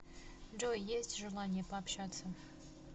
джой есть желание пообщаться